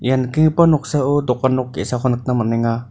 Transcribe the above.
ia nikenggipa noksao dokan nok ge·sako nikna man·enga.